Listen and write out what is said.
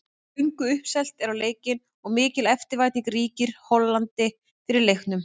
Löngu uppselt er á leikinn og mikil eftirvænting ríkir í Hollandi fyrir leiknum.